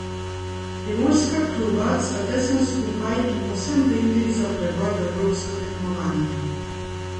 Primorska kluba sta tesno skupaj in povsem v igri za preboj v evropsko tekmovanje.